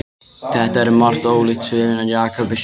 Þetta er um margt ólíkt sögunni af Jakobi, syni Ísaks.